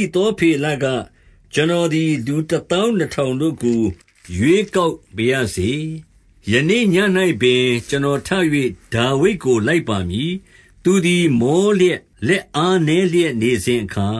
ိသောဖေလက၊ ကျွန်တော်သည် လူတသောင်းနှစ်ထောင်တို့ကို ရွေကောက်ပါရစေ။ ယနေ့ ညဉ့်ပင် ကျွန်တော်ထ၍ ဒါဝိဒ်ကိုလိုက်ပါမည်။ သူသည်မောလျက် လက်အားနည်းလျက် နေစဉ်အခါ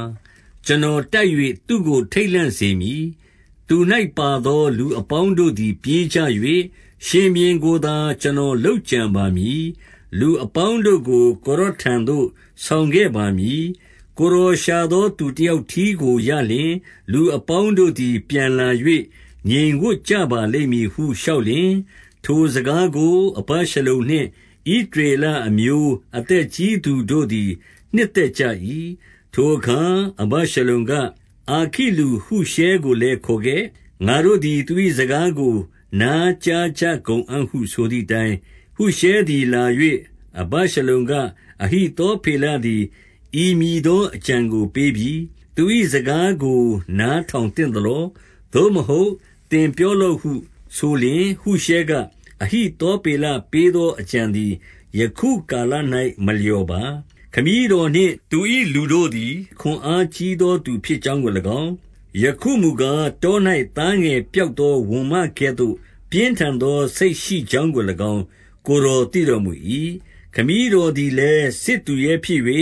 ကျွန်တော်တိုက်၍ သူ့ကိုထိတ်လန့်စေမည်။ သူ၌ ပါသော လူအပေါင်းတို့သည် ပြေးကြ၍၊ ရှင်ဘုရင်ကိုသာ ကျွန်တော်လုပ်ကြံပါမည်။ လူအပေါင်းတို့ကို ကိုယ်တော်ထံသို့ ဆောင်ခဲ့ပါမည်။ ကိုယ်တော်ရှာသောသူတယောက်တည်းကိုရလျှင်၊ လူအပေါင်းတို့သည် ပြန်လာ၍ ငြိမ်ဝပ်ကြပါလိမ့်မည်ဟု လျှောက်လျှင်၊ ထိုစကားကိုအဗရှလံနှင့် ဣသရေလအမျိုး အသက်ကြီးသူတို့သည် နှစ်သက်ကြ၏။ ထိုအခါ အဗရှလုံက၊ အာခိလူရှဲကိုလည်းခေါခဲ့။ ငါတို့သည် သူ၏စကားကိုနာကြားကြကုန်အံ့ဟုဆိုသည် အတိုင်း၊ ဟုရှဲသည်လာ၍ အဗရှလုံက၊ အဟိသောဖေလသည် ဤမည်သောအကြံကိုပေးပြီ။ သူ၏စကားကို နားထောင် သင့်သလော။ သို့မဟုတ် သင်ပြောလော့ဟုဆိုလျှင်၊ ဟုရှဲက အဟိသောဖေလပေးသော အကြံသည် ယခုကာလ၌ မလျော်ပါ။ ခမည်းတော်နှင့် သူ၏လူတို့သည် ခွန်အားကြီးသောသူဖြစ်ကြောင်းကို၎င်း၊ ယခုမူကား တော၌ သားငယ်ပျောက်သော ဝံမကဲ့သို့ ပြင်းထန်သောစိတ်ရှိကြောင်းကို၎င်း၊ ကိုယ်တော်သိတော်မူ၏။ ခမည်းတော် သည်လည်း စစ်သူရဲဖြစ်၍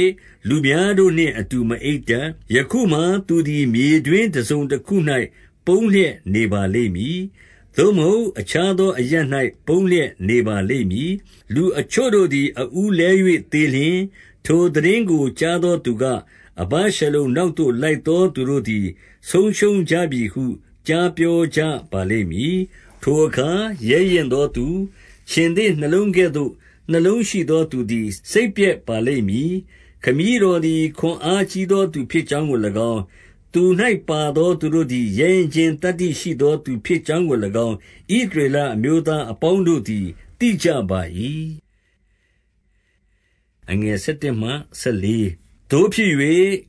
လူများတို့နှင့်အတူ မအိပ်တတ်။ ယခုမှာသူသည် မြေတွင်းတစုံတခု၌ ပုန်းလျက်နေပါလိမ့်မည်။ သို့မဟုတ်အခြားသောအရပ်၌ ပုန်းလျက် နေပါလိမ့်မည်။ လူအချို့တို့သည် အဦးလဲ၍သေလျှင် ထိုသိတင်းကိုကြားသောသူက၊ အဗရှလုံနောက်သို့ လိုက်သောသူသည် ဆုံးရှုံးကြပြီဟု ကြားပြောကြပါလိမ့်မည်။ ထိုအခါ ရဲရင့်သောသူ၊ ခြင်္သေ့နှလုံးကဲ့သို့ နှလုံးရှိသောသူသည် စိတ်ပျက်ပါလိမ့်မည်။ ခမည်းတော်သည် ခွန်အားကြီးသောသူဖြစ်ကြောင်းကို၎င်း၊ သူ၌ပါသော သူတို့သည် ရဲရင့်ခြင်းသတ္တိရှိသောသူဖြစ်ကြောင်းကို၎င်း၊ ဣသရေလအမျိုးသားအပေါင်းတို့သည် သိကြပါ၏။ သို့ဖြစ်၍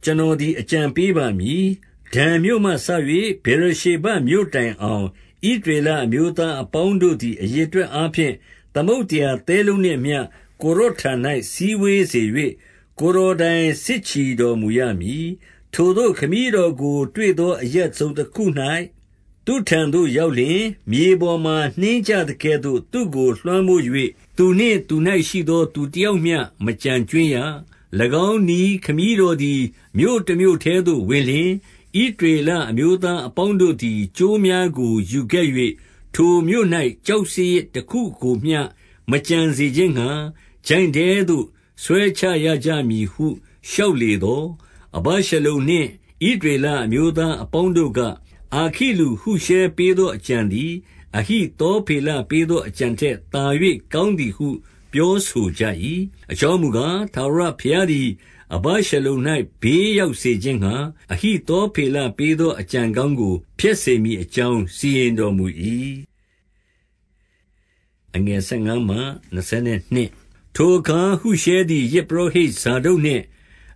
ကျွန်တော်သည် အကြံပေးပါမည်။ ဒန်မြို့မှစ၍ ဗေရရှေဘမြို့တိုင်အောင် ဣသရေလ အမျိုးသားအပေါင်းတို့သည် အရေအတွက်အားဖြင့် သမုဒ္ဒရာသဲလုံးနှင့်အမျှ ကိုယ်တော်ထံ၌ စည်းဝေး၍ ကိုယ်တော်တိုင် စစ်ချီတော်မူရမည်။ ထိုသို့ခမည်းတော်ကိုတွေ့သော အရပ်တစုံတခု၌ သူ့ထံသို့ရောက်လျှင်၊ မြေပေါ်မှာ နှင်းကျကဲ့သို့ သူ့ကိုလွှမ်းမိုး၍ သူနှင့်သူ၌ရှိသောသူတယောက်မျှ မကျန်ကြွင်းရ။ ၎င်းနည်းခမည်းတော်သည် မြို့တမြို့ထဲသို့ ဝင်လျှင်၊ ဣသရေလအမျိုးသားအပေါင်းတို့သည် ကြိုးများကို ယူခဲ့၍ ထိုမြို့၌ ကျောက်စရစ်တခုကိုမျှ မကျန်စေခြင်းငှါ ချိုင့်ထဲသို့ ဆွဲချရကြမည်ဟု လျှောက်လေသော်၊ အဗရှလုံနှင့် ဣသရေလအမျိုးသားအပေါင်းတို့က၊ အာခိလူဟုရှဲပေးသော အကြံထက်သာ၍ကောင်း သည်ဟု ပြောဆိုကြ၏။ အကြောင်းမူကား၊ ထာဝရဘုရားသည် အဗရှလုံ၌ ဘေးရောက်စေခြင်းငှါ၊ အဟိသော ဖေလပေးသော အကြံကောင်းကို ဖျက်စေမည်အကြောင်း စီရင်တော်မူ၏။ ထိုအခါ ဟုရှဲသည် ယဇ်ပုရောဟိတ်ဇာဒုတ်နှင့်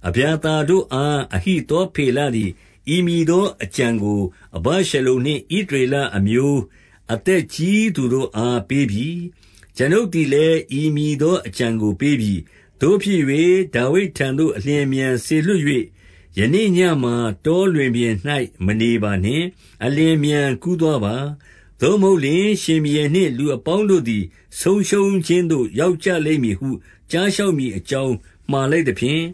အဗျာသာတို့အား၊ အဟိသောဖေလသည် ဤမည်သော အကြံကို အဗရှလုံနှင့် ဣသရေလအမျိုးအသက်ကြီးသူတို့ အားပေးပြီ။ ကျွန်ုပ်သည်လည်း ဤမည်သောအကြံကို ပေးပြီ။ သို့ဖြစ်၍ ဒါဝိဒ်ထံသို့အလျင်အမြန်စေလွှတ်၍ ယနေ့ညမှာ တောလွင်ပြင်၌ မနေပါနှင့်။ အလျင်အမြန် ကူးသွားပါ။ သို့မဟုတ်လျှင် ရှင်ဘုရင်နှင့်လူအပေါင်းတို့ သည် ဆုံးရှုံးခြင်းသို့ ရောက်ကြလိမ့်မည်ဟု ကြားလျှောက် မည်အကြောင်း မှာလိုက်သဖြင့်၊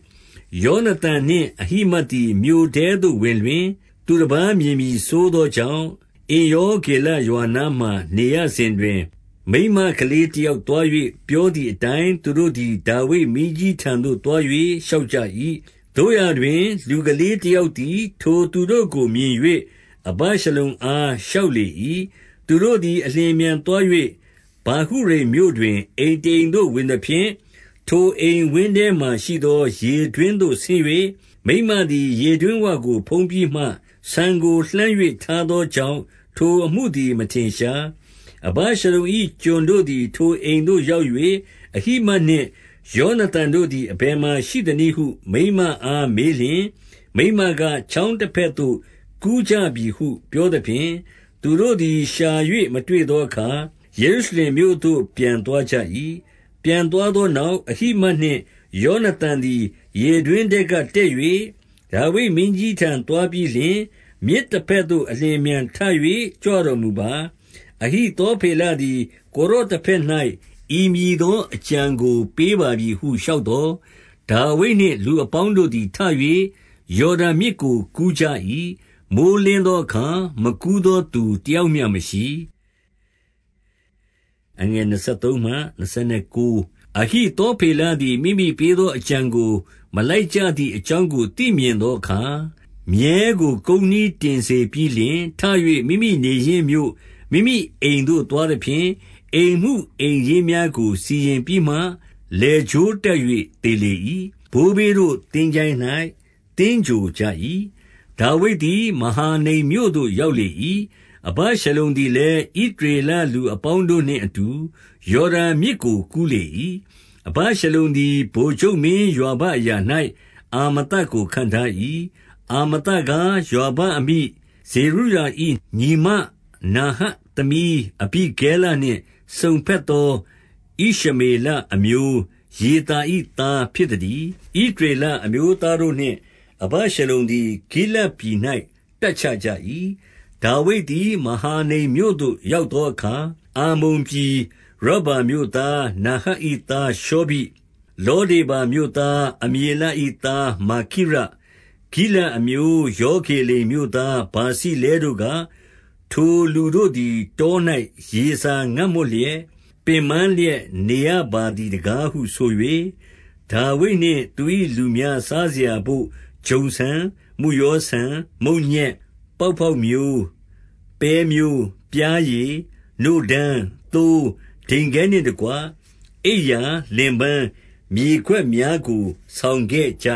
ယောနသန်နှင့် အဟိမတ်သည် မြို့ထဲသို့ဝင်လျှင် သူတပါးမြင်မည်စိုးသောကြောင့်၊ အင်္ရောဂေလရွာ နားမှာ နေရစဉ်တွင်၊ မိန်းမကလေးတယောက်သွား၍ ပြောသည်အတိုင်းသူတို့သည် ဒါဝိဒ်မင်းကြီးထံသို့ သွား၍ လျှောက်ကြ၏။ သို့ရာတွင် လူကလေးတယောက်သည် ထိုသူတို့ကိုမြင်၍ အဗရှလုံအား လျှောက်လေ၏။ သူတို့သည် အလျင်အမြန်သွား၍ ဗာဟုရိမ်မြို့တွင် အိမ်တအိမ်သို့ဝင်သဖြင့် ထိုအိမ်ဝင်းထဲမှာရှိသော ရေတွင်းသို့ ဆင်း၍၊ မိန်းမသည်ရေတွင်းဝကို ဖုံးပြီးမှ ဆန်ကိုလှန်း၍ ထားသောကြောင့် ထိုအမှုသည် မထင်ရှား။ အဗရှလုံ၏ ကျွန်တို့သည်ထိုအိမ်သို့ရောက်၍ အဟိမတ်နှင့်ယောနသန်တို့သည် အဘယ်မှာရှိသနည်းဟု မိန်းမအားမေးလျှင်၊ မိန်းမက၊ ချောင်းတဘက်သို့ ကူးကြပြီဟု ပြောသဖြင့် သူတို့သည် ရှာ၍မတွေ့သောအခါ ယေရုရှလင်မြို့သို့ပြန်သွားကြ၏။ ပြန်သွားသောနောက် အဟိမတ်နှင့် ယောနသန်သည် ရေတွင်းထဲကတက်၍ ဒါဝိဒ်မင်းကြီးထံသို့ သွားပြီးလျှင်၊ မြစ်တဘက်သို့ အလျင်အမြန်ထ၍ ကြွတော်မူပါ။ အဟိသောဖေလသည် ကိုယ်တော်တဘက်၌ ဤမည်သော အကြံကိုပေးပါပြီဟု လျှောက်သော်၊ ဒါဝိဒ်နှင့် လူအပေါင်းတို့သည် ထ၍ ယော်ဒန်မြစ်ကိုကူးကြ၏။ မိုယ်းလင်းသောအခါ မကူးသောသူတယောက် မျှမရှိ။ အဟသောဖေလသည် မိမိပေးသောအကြံသို့ မလိုက်ကြသည်အကြောင်းကို သိမြင်သောအခါ၊ မြည်းကို ကုန်းနှီးတင်စေပြီးလျှင်ထ၍ မိမိနေရင်းမြို့ မိမိအိမ်သို့ သွားသဖြင့် အိမ်မှုအိမ်ရေးများကို စီရင်ပြီးမှ လည်ကြိုး တပ်၍ သေလေ၏။ ဘိုးဘေးတို့သင်္ချိုင်း၌ သဂြိုဟ်ကြ၏။ ဒါဝိဒ်သည် မဟာနိမ်မြို့သို့ ရောက်လေ၏။ အဗရှလုံသည်လည်း ဣသရေလလူအပေါင်းတို့နှင့်အတူ ယော်ဒန်မြစ်ကို ကူးလေ၏။ အဗရှလုံသည် ဗိုလ်ချုပ်မင်းယွာဘ အရာ၌ အာမသကို ခန့်ထား၏။ အာမသကား၊ ယွာဘ အမိ ဇေရုယာ၏ ညီမနာဟတ်သမီးအဘိဂဲလနှင့် စုံဘက်သော ဣရှမေလအမျိုး ယေသာ၏သား ဖြစ်သတည်း။ ဣသရေလအမျိုးတို့နှင့် အဗရှလုံသည် ဂိလဒ်ပြည်၌ တပ်ချကြ၏။ ဒါဝိဒ်သည် မဟာနိမ်မြို့သို့ ရောက်သောအခါ၊ အမ္မုန်ပြည် ရဗ္ဗာမြို့သားနာဟတ်၏သား ရှေဘိ၊ လော ဒေဗာမြို့သား အမျေလ၏သား မာခိရ၊ ဂိလဒ်အမျိုး ရောဂေလိမ်မြို့သား ဗာဇိလဲတို့က၊ ထိုလူတို့သည် တော၌ရေစာ ငတ်မွတ်လျက် ပင်ပန်းလျက် နေရပါသည်တကားဟုဆို၍၊ ဒါဝိဒ်နှင့် သူ၏လူများ စားစရာဘို့ ဂျုံဆန်၊ မုယောဆန်၊ မုန့်ညက်၊ ပေါက်ပေါက်မျိုး၊ ပဲမျိုး၊ ပျားရည်၊ နို့ဓမ်း၊ သိုး၊ ဒိန်ခဲနှင့်တကွ အိပ်ရာ၊ လင်ပန်း၊ မြေခွက်များကို ဆောင်ခဲ့ကြ